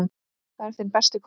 Það er þinn besti kostur.